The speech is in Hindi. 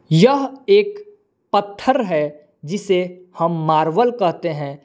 यह एक पत्थर है जिसे हम मार्बल कहते हैं।